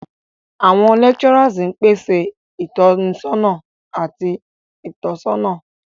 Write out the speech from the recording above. Awọn lecturers pese itọnisọna ati itọsọna.